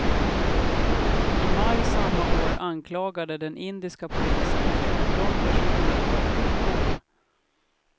I maj samma år anklagade den indiska polisen fjorton personer för korruption.